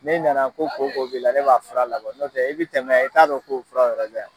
Ni nana ko koko b'i la, ne b'a fura labin nɔtɛ i be tɛmɛ yan i t'a dɔn ko fura yɛrɛ be yan.